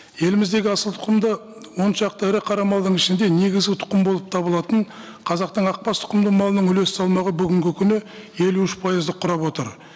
еліміздегі асылтұқымды он шақты ірі қара малдың ішінде негізгі тұқым болып табылатын қазақтың ақбас тұқымды малының үлес салмағы бүгінгі күні елу үш пайызды құрап отыр